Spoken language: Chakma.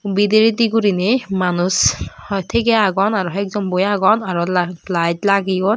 bidiredi gurine manus tigey agon aro hoi ek jon boi agon aro lat lite lageyon.